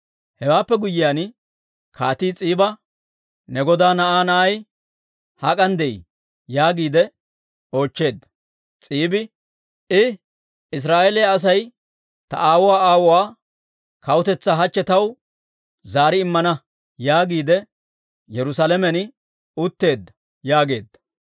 Hewaappe guyyiyaan kaatii S'iiba, «Ne godaa na'aa na'ay hak'an de'ii?» yaagiide oochcheedda. S'iibi, «I, ‹Israa'eeliyaa Asay ta aawuwaa aawuwaa kawutetsaa hachche taw zaari immana› yaagiide Yerusaalamen utteedda» yaageedda.